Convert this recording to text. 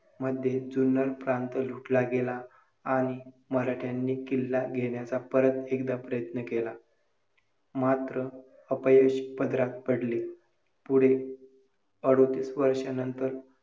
कारण जगण्यासाठीच नव्हे तर या पृथ्वीतलावर जन्म घेण्यासाठी देखील तुम्हाला संघर्ष करावा लागतो. स्त्री शक्तीचा पुरेपूर वापर करून .एक चांगली व्यक्ती बनवून दाखवा.